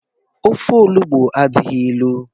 Ofe olugbu adighi elu.